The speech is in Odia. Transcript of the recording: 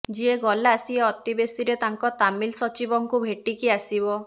ଯିଏ ଗଲା ସିଏ ଅତିବେଶୀରେ ତାଙ୍କ ତାମିଲ ସଚିବଙ୍କୁ ଭେଟିକି ଆସିବ